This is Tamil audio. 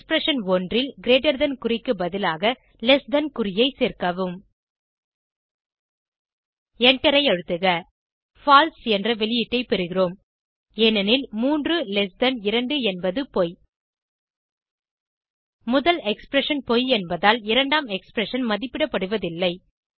எக்ஸ்பிரஷன் 1 ல் கிரீட்டர் தன் குறிக்கு பதிலாக லெஸ் தன் ஐ சேர்க்கவும் எண்டரை அழுத்துக பால்சே என்ற வெளியீடை பெறுகிறோம் ஏனெனில் 32 என்பது பொய் முதல் எக்ஸ்பிரஷன் பொய் என்பதால் இரண்டாம் எக்ஸ்பிரஷன் மதிப்பிடப்படுவதில்லை